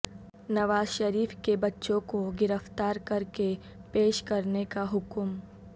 نوازشریف کے بچوں کو گرفتار کرکے پیش کرنے کا حکم